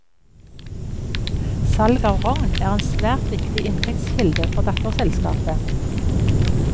Salg av rogn er en svært viktig inntektskilde for datterselskapet.